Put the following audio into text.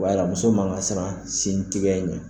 Wala muso mankan ka siran sin tigɛ in ɲɛ